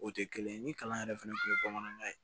O tɛ kelen ye ni kalan yɛrɛ fɛnɛ kun ye bamanankan ye